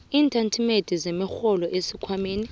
iintatimende zemirholo esikhwameni